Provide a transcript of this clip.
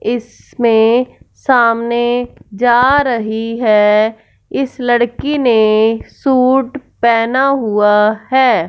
इसमें सामने जा रही है इस लड़की ने सूट पहना हुआ है।